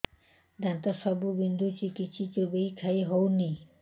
ଦାନ୍ତ ସବୁ ବିନ୍ଧୁଛି କିଛି ଚୋବେଇ ଖାଇ ହଉନି